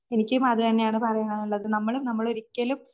എനിക്കും അതുതന്നെയാണ് പറയാനുള്ളത് നമ്മള്